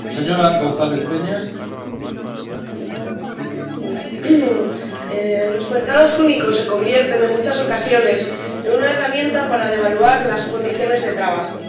Señor Presidente, los mercados únicos se convierten, en muchas ocasiones, en una herramienta para devaluar las condiciones de trabajo.